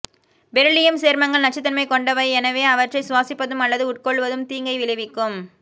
beryllium சேர்மங்கள் நச்சுதன்மை கொண்டவை எனவே அவற்றை சுவாசிப்பதும் அல்லது உட்கொள்ளுவதும் தீங்கை விளைவிக்கும்